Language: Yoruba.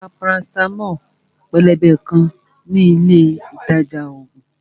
Mo ra parasitamo pélébé kan ní ilé ìtajà ògùn